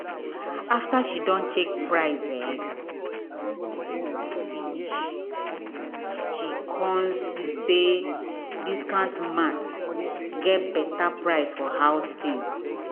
after she check price finish she come see say discount mart get better price for house things.